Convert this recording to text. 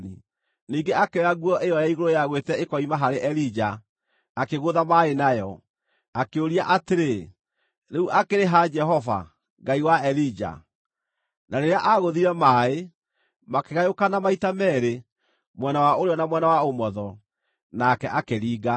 Ningĩ akĩoya nguo ĩyo ya igũrũ yagwĩte ĩkoima harĩ Elija, akĩgũtha maaĩ nayo. Akĩũria atĩrĩ, “Rĩu akĩrĩ ha Jehova, Ngai wa Elija?” Na rĩrĩa aagũthire maaĩ, makĩgayũkana maita meerĩ mwena wa ũrĩo na mwena wa ũmotho, nake akĩringa.